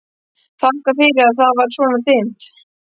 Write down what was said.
Þakkaði fyrir að það var svona dimmt.